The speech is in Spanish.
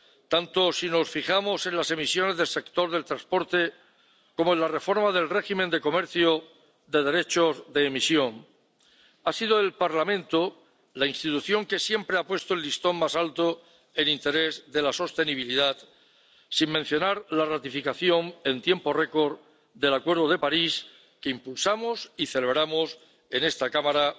Tanto si nos fijamos en las emisiones del sector del transporte como en la reforma del régimen de comercio de derechos de emisión, ha sido el Parlamento la institución que siempre ha puesto el listón más alto en interés de la sostenibilidad, sin mencionar la ratificación en tiempo récord del Acuerdo de París, que impulsamos y celebramos en esta Cámara